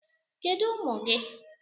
Kedu ụmụ gị?